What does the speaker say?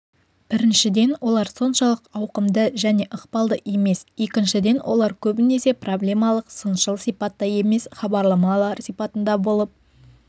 біріншіден олар соншалық ауқымды және ықпалды емес екіншіден олар көбінесе проблемалық-сыншыл сипатта емес хабарлама сипатында болып